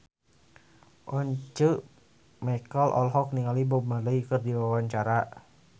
Once Mekel olohok ningali Bob Marley keur diwawancara